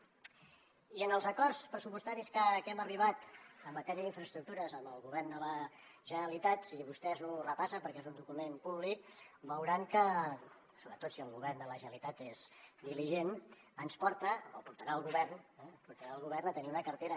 i en els acords pressupostaris a què hem arribat en matèria d’infraestructures amb el govern de la generalitat si vostès ho repassen perquè és un document públic veuran que sobretot si el govern de la generalitat és diligent ens porten o portaran el govern portaran el govern a tenir una cartera